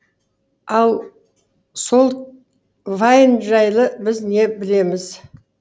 ал сол вайн жайлы біз не білеміз